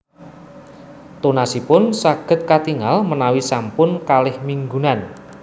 Tunasipun saged katingal menawi sampun kalih minggunan